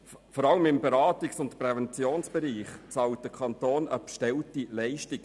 Vor allem im Beratungs- und Präventionsbereich bezahlt der Kanton teilweise eine bestellte Leistung.